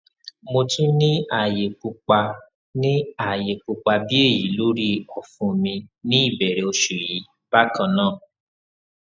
mo tun ni aaye pupa ni aaye pupa bi eyi lori ọfun mi ni ibẹrẹ oṣu yii bakannaa